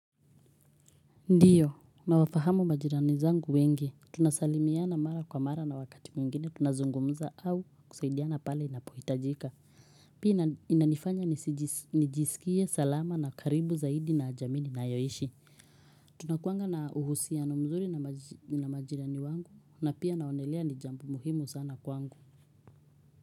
Ndiyo nawafahamu majirani zangu wengi tunasalimiana mara kwa mara na wakati mwingine tunazungumza au kusaidiana pale inapohitajika pia inanifanya nijisikie salama na karibu zaidi na jamii ninayoishi tunakuanga na uhusiano mzuri na majirani wangu na pia naonelea ni jambo muhimu sana kwangu.